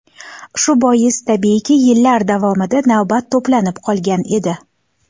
Shu bois, tabiiyki, yillar davomida navbat to‘planib qolgan edi.